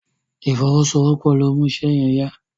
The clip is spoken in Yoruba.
ìfowosowopo lọ mú iṣé yen yá.